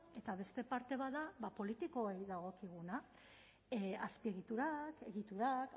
eta beste parte bat da politikoei dagokiguna azpiegiturak egiturak